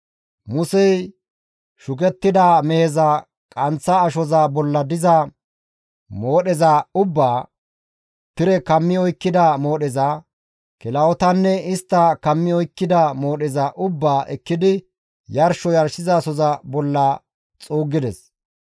Musey shukettida meheza qanththa ashoza bolla diza moodheza ubbaa, tire kammi oykkida moodheza, kilahotanne istta kammi oykkida moodheza ubbaa ekkidi yarsho yarshizasoza bolla xuuggides.